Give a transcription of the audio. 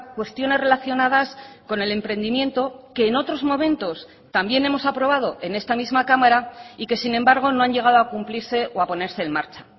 cuestiones relacionadas con el emprendimiento que en otros momentos también hemos aprobado en esta misma cámara y que sin embargo no han llegado a cumplirse o a ponerse en marcha